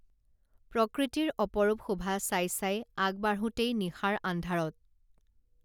প্ৰকৃতিৰ অপৰূপ শোভা চাই চাই আগবাঢোঁতেই নিশাৰ আন্ধাৰত